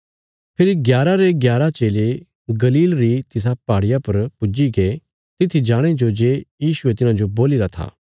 फेरी ग्यारा रे ग्यारा चेले गलील री तिसा पहाड़िया पर पुज्जीगे तित्थी जाणे जो जे यीशुये तिन्हाजो बोलीरा था